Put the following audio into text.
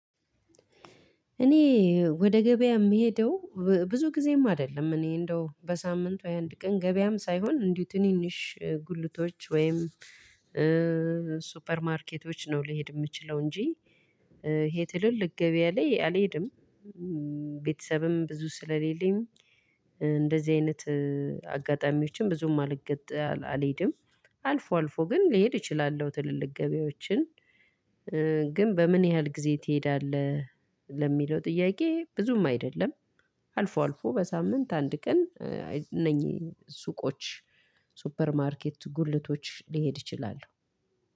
እኔ ወደ ገበያ የምሄደው ብዙ ጊዜም አይደለም እኔ እንደው በሳምንቱ የአንድ ቀን ገበያም ሳይሆን እንዲሁ ትንንሽ ጉልቶች ወይም ሱፐር ማርኬቶች ነው ልሄድ የምችለው እንጂ ይሄ ትልልቅ ገበያ ላይ አልሄድም። ቤተሰብም ብዙ ስለሌለኝ እንደዚህ አይነት አጋጣሚዎችን ብዙም አልገጥ አልሄድም። አልፎ አልፎ ግን ልሄድ እችላለሁ ትልልቅ ገበያዎችን። ግን በምን ያህል ጊዜ ትሄዳለህ? ለሚለው ጥያቄ ብዙም አይደለም። አልፎ አልፎ በሳምንት አንድ ቀን እነኚህ ሱቆች ሱፐር ማርኬት ጉልቶች ሊሄድ ይችላል።